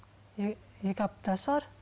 екі апта шығар